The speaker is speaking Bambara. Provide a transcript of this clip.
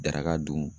Daraka dun